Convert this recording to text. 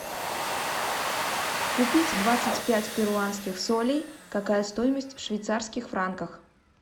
купить двадцать пять перуанских солей какая стоимость в швейцарских франках